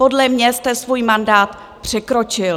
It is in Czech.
Podle mě jste svůj mandát překročil.